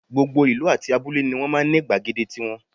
Gbogbo ìlú àti abúlé ni wọ́n máa ń ní gbàgede tiwọn